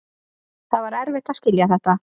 Það var erfitt að skilja þetta.